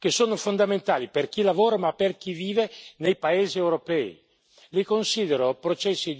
alle condizioni ambientali, che sono fondamentali per chi lavora, ma per chi vive nei paesi europei.